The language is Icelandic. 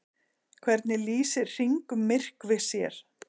Hvernig lýsir hringmyrkvi sér?